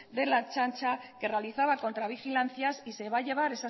de la ertzaintza que realizaba contra vigilancias y se va a llevar